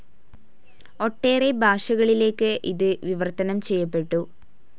ഒട്ടേറെ ഭാഷകളിലേക്ക് ഇത് വിവർത്തനം ചെയ്യപ്പെട്ടു.